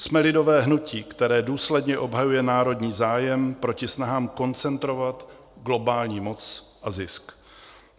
Jsme lidové hnutí, které důsledně obhajuje národní zájem proti snahám koncentrovat globální moc a zisk.